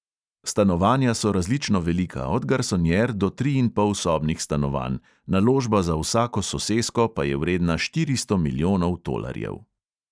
Stanovanja so različno velika, od garsonjer do triinpolsobnih stanovanj, naložba za vsako sosesko pa je vredna štiristo milijonov tolarjev.